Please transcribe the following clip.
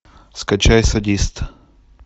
скачай садист